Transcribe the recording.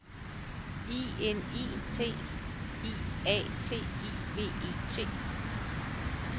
I N I T I A T I V E T